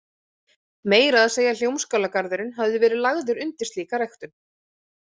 Meira að segja Hljómskálagarðurinn hafði verið lagður undir slíka ræktun.